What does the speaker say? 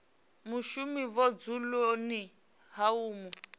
mushumi vhudzuloni ha u mu